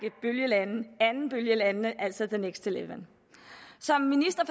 andenbølgelande altså the next eleven som minister